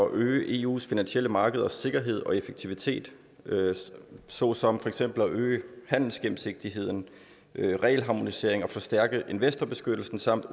at øge eus finansielle markeders sikkerhed og effektivitet såsom for eksempel at øge handelsgennemsigtigheden regelharmonisering og forstærke investorbeskyttelsen samt